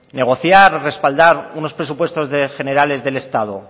negociar o respaldar unos presupuestos generales del estado